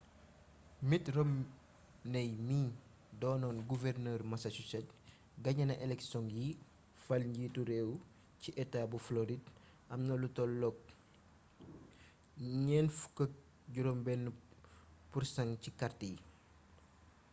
mitt romney mii doonoon guvernër massachusetts gañena eleksioŋ yi fal njiitu réew ci etaa bu floride amna lu tollu 46% ci kart yi